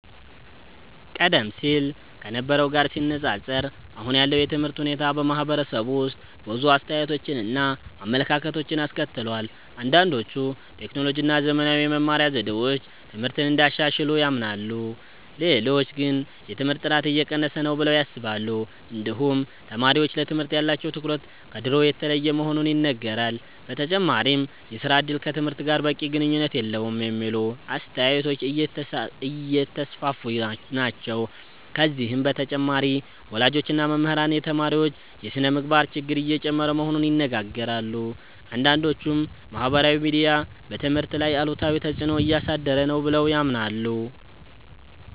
ቀደም ሲል ከነበረው ጋር ሲነፃፀር አሁን ያለው የትምህርት ሁኔታ በማህበረሰቡ ውስጥ ብዙ አስተያየቶችን እና አመለካከቶችን አስከትሏል። አንዳንዶች ቴክኖሎጂ እና ዘመናዊ የመማሪያ ዘዴዎች ትምህርትን እንዳሻሻሉ ያምናሉ። ሌሎች ግን የትምህርት ጥራት እየቀነሰ ነው ብለው ያስባሉ። እንዲሁም ተማሪዎች ለትምህርት ያላቸው ትኩረት ከድሮ የተለየ መሆኑ ይነገራል። በተጨማሪም የሥራ እድል ከትምህርት ጋር በቂ ግንኙነት የለውም የሚሉ አስተያየቶች እየተስፋፉ ናቸው። ከዚህ በተጨማሪ ወላጆች እና መምህራን የተማሪዎች የስነ-ምግባር ችግር እየጨመረ መሆኑን ይናገራሉ። አንዳንዶችም ማህበራዊ ሚዲያ በትምህርት ላይ አሉታዊ ተፅዕኖ እያሳደረ ነው ብለው ያምናሉ።